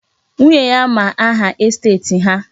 Nwunye ya ma aha estet ha.